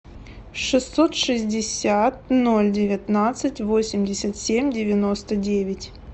шестьсот шестьдесят ноль девятнадцать восемьдесят семь девяносто девять